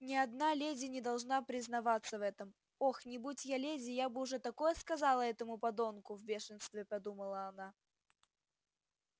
ни одна леди не должна признаваться в этом ох не будь я леди я бы уж такое сказала этому подонку в бешенстве подумала она